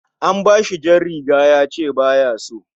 An bashi jar riga yace baya so